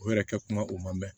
O yɛrɛ kɛ kuma o man mɛn